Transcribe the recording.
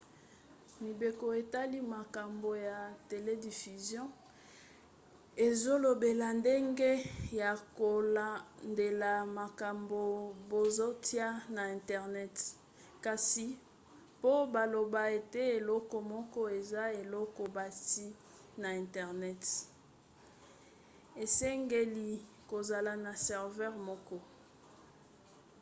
mibeko etali makambo ya telediffusion ezolobela ndenge ya kolandela makambo bazotia na internet kasi po baloba ete eloko moko eza eloko batie na internet esengeli kozala na serveur moko